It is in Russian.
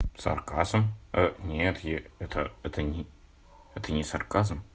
сарказм нет это это нет это не сарказм